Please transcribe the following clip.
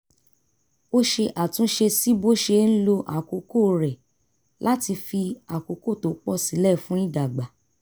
ó ṣe àtúnṣe sí bó ṣe ń lo àkókò rẹ̀ láti fi àkókò tó pọ̀ sílẹ̀ fún ìdàgbà